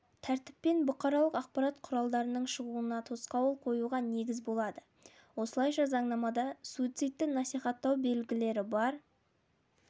тәртіппен бұқаралық ақпарат құралының шығуына тосқауыл қоюға негіз болады осылайша заңнамада суицидті насихаттау белгілері бар